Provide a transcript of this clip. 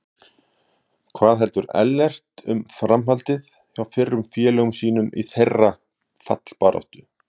Hvað heldur Ellert um framhaldið hjá fyrrum félögum sínum í þeirra fallbaráttu?